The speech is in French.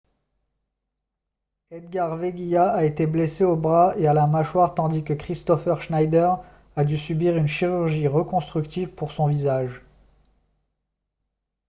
edgar veguilla a été blessé au bras et à la mâchoire tandis que kristoffer schneider a dû subir une chirurgie reconstructive pour son visage